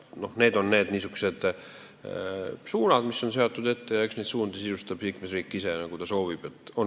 On ette seatud teatud suunad ja neid suundi sisustab liikmesriik ise nii, nagu ta soovib.